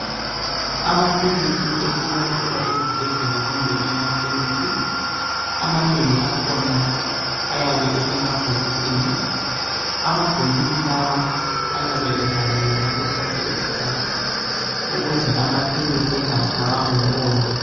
Amaphilisi esiwathola ezibhedlela kumbe emakhemisi, amanengi akhona ayabe esemabhokisi, amabhokisi lawa ayabe evaliwe ngaso sonke isikhathi ukuze amaphilisi engatshaywa ngumoya.